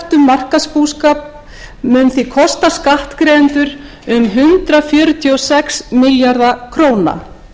markaðsbúskap mundi kosta skattgreiðendur um hundrað fjörutíu og sex milljarða króna